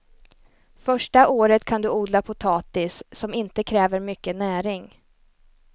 Första året kan du odla potatis, som inte kräver mycket näring.